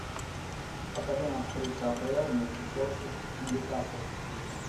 покажи нам встречу апл между челси и ньюкасл